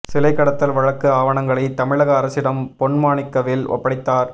சிலை கடத்தல் வழக்கு ஆவணங்களை தமிழக அரசிடம் பொன் மாணிக்கவேல் ஒப்படைத்தார்